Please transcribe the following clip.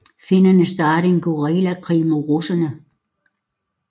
Finnerne startede en guerillakrig mod russerne